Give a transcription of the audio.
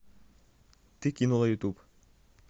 ты кинула ютуб